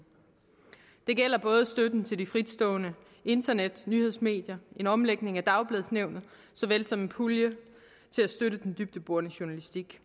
det gælder støtten til de fritstående internetnyhedsmedier en omlægning af dagbladsnævnet så vel som en pulje til at støtte den dybdeborende journalistik